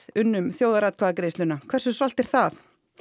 unnum þjóðaratkvæðagreiðsluna hversu svalt er það